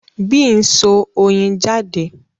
Bee n so oyin jade